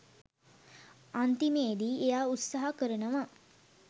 අන්තිමේදී එයා උත්සහ කරනවා